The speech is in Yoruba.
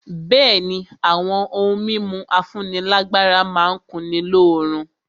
Bẹ̀ẹ́ni, àwọn ohun mímu afúnílágbára má n kunni lóorun.